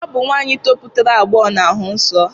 Ọ bụ nwaanyị toputara agbọghọ na-ahụ nsọ